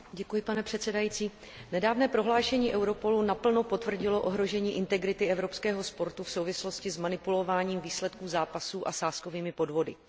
Vážený pane předsedající, nedávné prohlášení Europolu naplno potvrdilo ohrožení integrity evropského sportu v souvislosti s manipulováním výsledků zápasů a sázkovými podvody.